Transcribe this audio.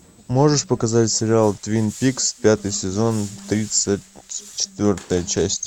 можешь показать сериал твин пикс пятый сезон тридцать четвертая часть